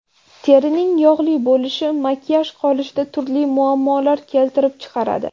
Terining yog‘li bo‘lishi makiyaj qilishda turli muammolar keltirib chiqaradi.